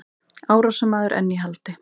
Árásarmaður enn í haldi